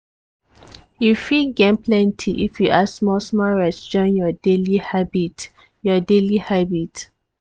you fit gain plenty if you add small-small rest join your daily habit. your daily habit.